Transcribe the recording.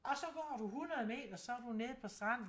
Og så går du 100 meter så er du nede på stranden